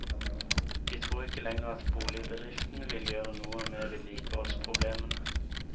De tror ikke lenger at boligbedriften vil gjøre noe med vedlikeholdsproblemene.